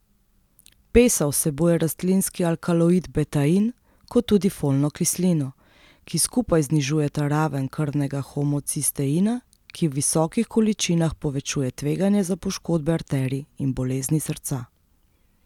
Pesa vsebuje rastlinski alkaloid betain, kot tudi folno kislino, ki skupaj znižujeta raven krvnega homocisteina, ki v visokih količinah povečuje tveganje za poškodbe arterij in bolezni srca.